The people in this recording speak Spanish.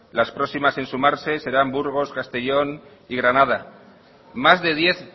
las próximas en sumarse serán burgos castellón y granada más de diez